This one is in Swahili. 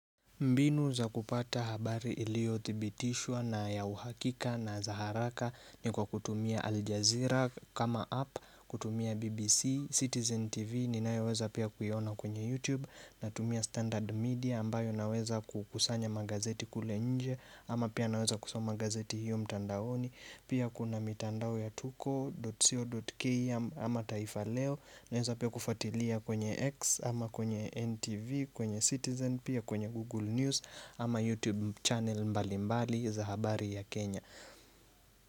Mbinu za kupata habari iliyothibitishwa na ya uhakika na za haraka ni kwa kutumia Al Jazeera kama app, kutumia BBC, Citizen TV, ninayoweza pia kuiona kwenye YouTube, natumia Standard Media ambayo naweza kukusanya magazeti kule nje, ama pia naweza kusoma gazeti hiyo mtandaoni. Pia kuna mitandao ya tuko.co.ke ama taifa leo Naweza pia kufuatilia kwenye X ama kwenye NTV kwenye Citizen Pia kwenye Google News ama YouTube channel mbali mbali za habari ya Kenya.